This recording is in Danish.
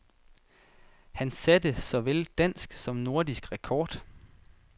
Han satte såvel dansk som nordisk rekord.